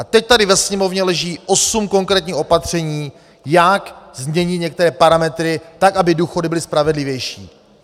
A teď tady ve Sněmovně leží osm konkrétních opatření, jak změnit některé parametry, tak aby důchody byly spravedlivější.